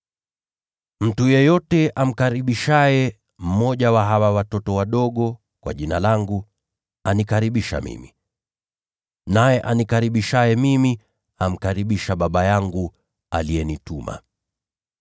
“Mtu yeyote amkaribishaye mmoja wa hawa watoto wadogo kwa Jina langu, anikaribisha mimi. Naye anikaribishaye mimi, amkaribisha Baba yangu aliyenituma.”